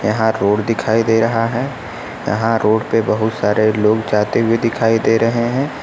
यहां रोड दिखाई दे रहा है यहां रोड पे बहोत सारे लोग जाते हुए दिखाई दे रहे हैं।